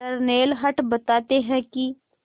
Darnell Hunt बताते हैं कि